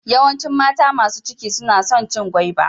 Yawancin mata masu ciki suna son cin gwaiba.